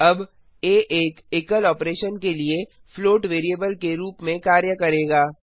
अब आ एक एकल ऑपरेशन के लिए फ्लोट वैरिएबल के रूप में कार्य करेगा